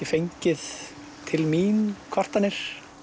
fengið til mín kvartanir